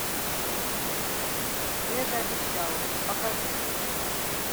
ты это обещала покажи